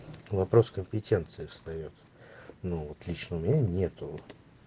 вопрос компетенции встаёт ну вот лично у меня нету